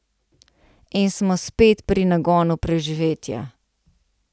In smo spet pri nagonu preživetja.